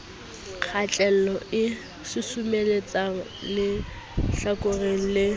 kgatello e susumeletsang lehlakoreng le